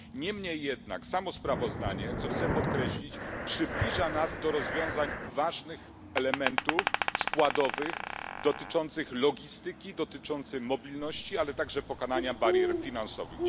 Niemniej jednak samo sprawozdanie, co chcę podkreślić, przybliża nas do rozwiązań w kwestii ważnych elementów składowych dotyczących logistyki, dotyczących mobilności, ale także pokonania barier finansowych.